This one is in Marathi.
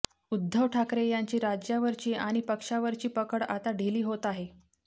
उद्धव ठाकरे यांची राज्यावरची आणि पक्षावरची पकड आता ढिली होत आहे